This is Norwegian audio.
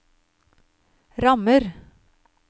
rammer